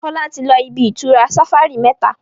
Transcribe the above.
Fola tí lọ ibi-itura safari méta.